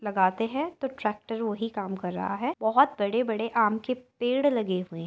लगाते हैं तो ट्रेकटर वही काम कर रहा है। बहुत बड़े-बड़े आम के पेड़ लगे हुए --